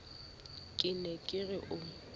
ke ne ke re o